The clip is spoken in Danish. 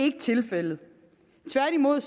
ikke tilfældet tværtimod